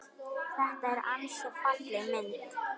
Þetta er ansi falleg mynd.